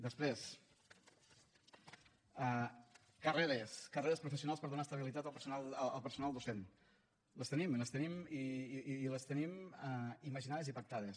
després carreres carreres professionals per donar estabilitat al personal docent les tenim i les tenim i les tenim imaginades i pactades